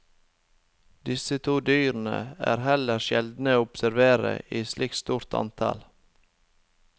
Disse to dyrene er heller sjeldne å observere i slikt stort antall.